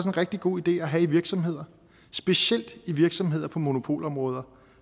en rigtig god idé at have i virksomheder specielt i virksomheder på monopolområder